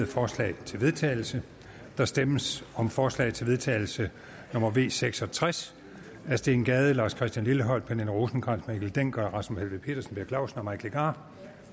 forslag til vedtagelse der stemmes om forslag til vedtagelse nummer v seks og tres af steen gade lars christian lilleholt pernille rosenkrantz theil mikkel dencker rasmus helveg petersen per clausen og mike legarth